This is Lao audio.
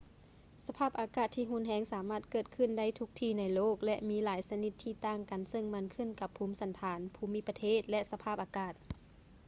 ສະພາບອາກາດທີ່ຮຸນແຮງສາມາດເກີດຂື້ນໄດ້ທຸກທີ່ໃນໂລກ ແລະ ມີຫຼາຍຊະນິດທີ່ຕ່າງກັນເຊິ່ງມັນຂື້ນກັບພູມສັນຖານ ພູມິປະເທດ ແລະ ສະພາບອາກາດ